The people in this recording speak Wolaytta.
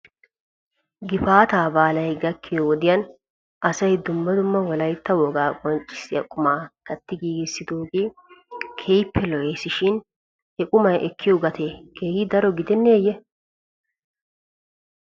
Gifaataa baalay gakkiyoo wodiyan asay dumma dumma wolaytta wogaa qonccissiyaa qumaa katti giigissidoogee keehippe lo'es shin he qumay ekkiyoo gatee keehi daro gidenneeyye?